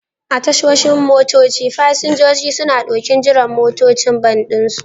A tashoshin motoci, fasinjoji suna ɗokin jiran motocin bas ɗinsu.